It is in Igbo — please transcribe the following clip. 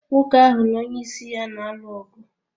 Nwoke ahụ na onyeisi ya na-alụ ọgụ.